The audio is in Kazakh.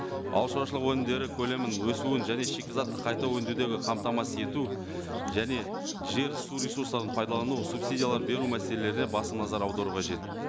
ауыл шаруашылығы өнімдері көлемін өсуін және шикізатты қайта өңдеудегі қамтамасыз ету және жер су ресурстарын пайдалану субсидиялар беру мәселелеріне басым назар аудару қажет